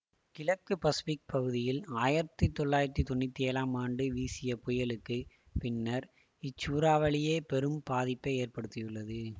கிழக்கு பசிபிக் பகுதியில் ஆயிரத்தி தொள்ளாயிரத்தி தொன்னூற்தி ஏழாம் ஆண்டு வீசிய புயலுக்குப் பின்னர் இச்சூறாவளியே பெரும் பாதிப்பை ஏற்படுத்தியுள்ளது